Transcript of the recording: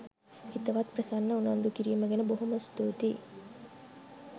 හිතවත් ප්‍රසන්න උනන්දු කිරීම ගැන බොහෝම ස්තුතියි.